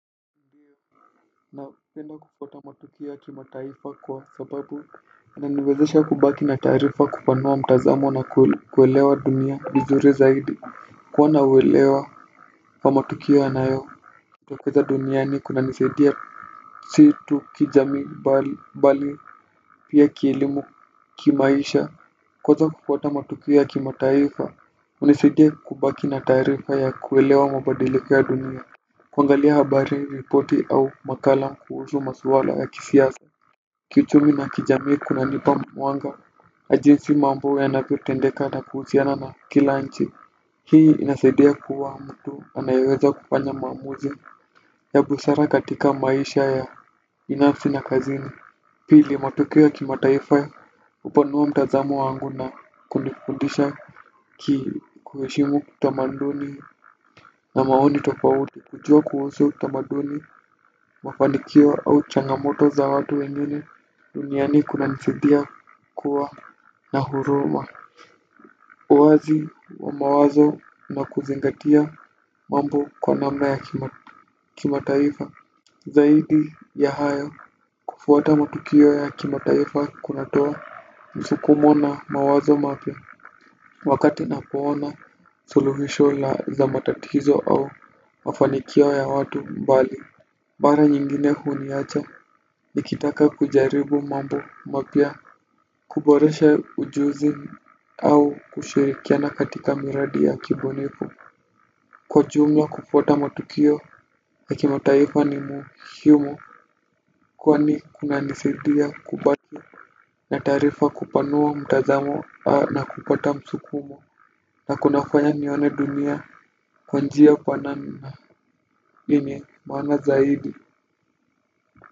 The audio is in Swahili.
Napenda kupata matukio ya kimataifa kwa sababu inaniwezesha kubaki na taarifa kupanua mtazamo na kuelewa dunia vizuri zaidi. Kuwa na uwelewa wa matukio yanayo jitokeza duniani kunanisidia si tu kijami bali pia kielimu kimaisha. Kuweza kufuata matukio ya kimataifa hunisaidia kubaki na taarifa ya kuelewa mabadiliko ya dunia. Kuangalia habari, ripoti au makala kuhusu maswala ya kisiasa kichumi na kijamii kunanipa mwanga na jinsi mambo yanavyotendeka na kuhusiana na kila nchi. Hii inasaidia kuwa mtu anayeweza kufanya maamuzi. Ya busara katika maisha ya binafsi na kazini. Pili matokeo kimataifa hupanua mtazamo wangu na kunifundisha kuheshimu utamaduni na maoni tofauti. Kujua kuhusu utamaduni mafanikio au changamoto za watu wengine duniani kunanisidia kuwa na huruma. Uwazi wa mawazo na kuzingatia mambo kwa nama ya kimataifa. Zaidi ya hayo kufuata matukio ya kimataifa kunatoa msukumo na mawazo mapya. Wakati napoona suluhisho la za matatizo au mafanikio ya watu mbali mara nyingine huniacha nikitaka kujaribu mambo mapya kuboresha ujuzi au kushirikiana katika miradi ya kibunifu kwa jumla kufuata matukio na kimataifa ni muhiumu kwani kuna nisaidia kubaki na tarifa kupanua mtazamo na kupata msukumo na kunafanya nione dunia kwa njia kwa namna yenye maana zaidi.